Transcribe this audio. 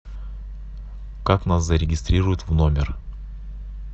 как нас зарегистрируют в номер